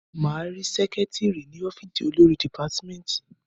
Máa rí sẹ́kítírì ní ọ́fìsì olórí dìpátímẹ́tì.